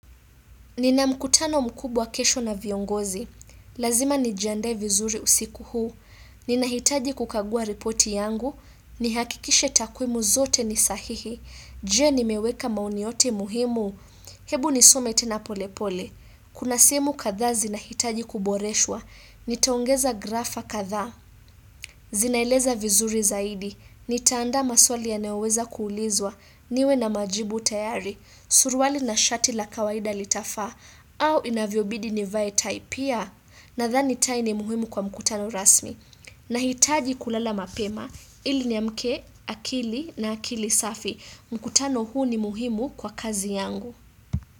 Ninamkutano mkubwa kesho na viongozi. Lazima nijiandae vizuri usiku huu. Ninahitaji kukagua ripoti yangu. Nihakikishe takwimu zote nisahihi. Je nimeweka maoni yote muhimu. Hebu nisome tenapolepole. Kuna simu kadhaa zinahitaji kuboreshwa. Nitaongeza grafa kadhaa. Zinaeleza vizuri zaidi. Nitaanda maswali ya naoweza kuulizwa. Niwe na majibu tayari. Suruali na shati la kawaida litafaa. Au inavyo bidi nivae tai pia na thani tai ni muhimu kwa mkutano rasmi na hitaji kulala mapema ili ni amke akili na akili safi mkutano huu ni muhimu kwa kazi yangu.